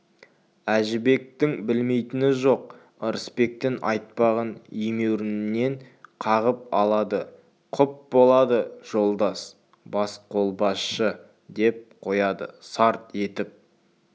әжібектің де білмейтіні жоқ ырысбектің айтпағын емеурінінен қағып алады құп болады жолдас басқолбасшы деп қояды сарт етіп